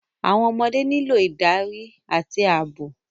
Àwọn ọmọdé nílò ìdarí àti ààbò.